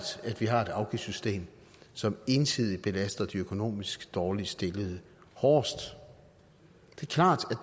at vi har et afgiftssystem som ensidigt belaster de økonomisk dårligst stillede hårdest